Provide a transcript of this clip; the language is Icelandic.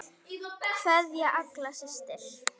Kveðja, Agla systir.